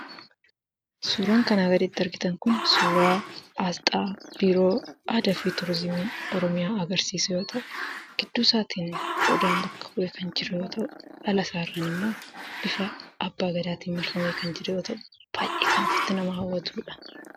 Suuraan kanaa gaditti argitan kun suuraa aasxaa Biiroo Aadaa fi Tuuriizimii Oromiyaa agarsiisu yoo ta'u, gidduu isaatiin Odaan bakka bu'ee kan jiru yoo ta'u, ala isaatiin immoo bifa Abbaa Gadaatiin marfamee kan jiru yoo ta'u, baay'ee kan ofitti nama hawwatuudha.